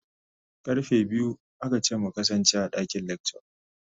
Karfe biyu aka ce mu kasance a dakin lecture.